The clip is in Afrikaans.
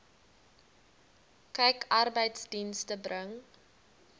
kyk arbeidsdienste bring